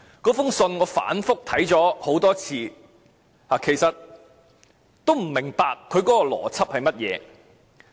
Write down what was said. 我反覆看過這封信，也不明白它的邏輯為何。